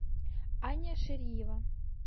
аня шариева